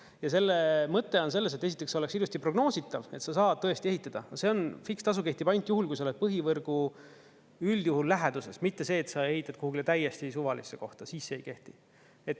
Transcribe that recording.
Ja selle mõte on selles, et esiteks oleks ilusti prognoositav, et sa saad tõesti ehitada, see on, fikstasu kehtib ainult juhul, kui sa oled põhivõrgu üldjuhul läheduses, mitte see, et sa ehitad kuhugile täiesti suvalisse kohta, siis see ei kehti.